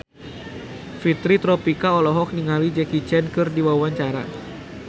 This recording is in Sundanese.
Fitri Tropika olohok ningali Jackie Chan keur diwawancara